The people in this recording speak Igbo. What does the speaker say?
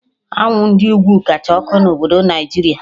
Anwụ Ndị ugwu kacha ọkụ na obodo Naijiria